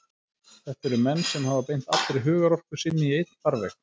Þetta eru menn sem hafa beint allri hugarorku sinni í einn farveg.